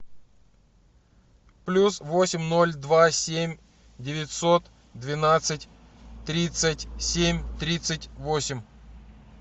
плюс восемь ноль два семь девятьсот двенадцать тридцать семь тридцать восемь